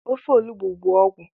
Ofe olubo bụ ọgwụ